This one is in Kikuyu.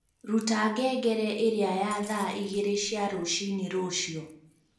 ruta ngengere ĩria ya thaa igĩrĩ cia rũcinĩ rũciũ